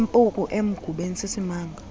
impuku emgubeni sisimanga